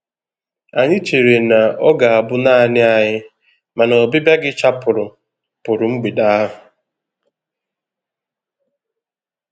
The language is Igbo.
Anyị chere na ọ ga-abụ naanị anyị, mana ọbịbịa gi chapụrụ pụrụ mgbede ahụ.